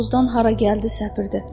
bu tozdan hara gəldi səpirdi.